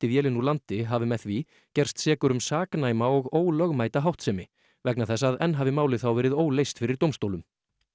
vélinni úr landi hafi með því gerst sekur um saknæma og ólögmæta háttsemi vegna þess að enn hafi málið þá verið óleyst fyrir dómstólum